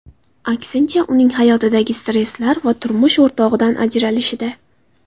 Aksincha uning hayotidagi stresslar va turmush o‘rtog‘idan ajralishida.